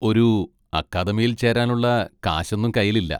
ഒരു അക്കാദമിയിൽ ചേരാനുള്ള കാശൊന്നും കയ്യിൽ ഇല്ല.